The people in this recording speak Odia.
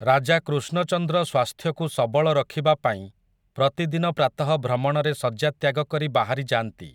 ରାଜା କୃଷ୍ଣଚନ୍ଦ୍ର ସ୍ୱାସ୍ଥ୍ୟକୁ ସବଳ ରଖିବା ପାଇଁ ପ୍ରତିଦିନ ପ୍ରାତଃ ଭ୍ରମଣରେ ଶଯ୍ୟା ତ୍ୟାଗ କରି ବାହାରି ଯାଆନ୍ତି ।